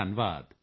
ਧੰਨਵਾਦ